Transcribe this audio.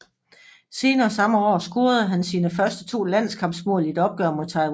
Senere samme år scorede han sine første to landskampsmål i et opgør mod Taiwan